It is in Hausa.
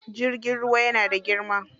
Jirgin ruwa yana da girma.